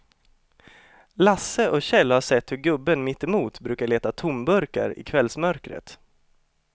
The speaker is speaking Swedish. Lasse och Kjell har sett hur gubben mittemot brukar leta tomburkar i kvällsmörkret.